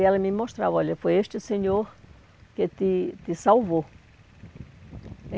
E ela me mostrava, olha, foi este senhor que te te salvou.